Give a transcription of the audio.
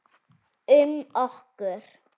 Um okkur.